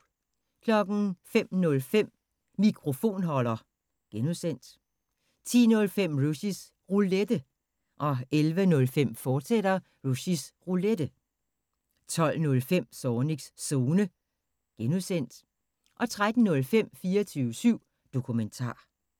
05:05: Mikrofonholder (G) 10:05: Rushys Roulette 11:05: Rushys Roulette, fortsat 12:05: Zornigs Zone (G) 13:05: 24syv Dokumentar